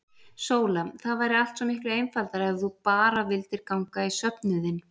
SÓLA: Það væri allt svo miklu einfaldara ef þú bara vildir ganga í söfnuðinn.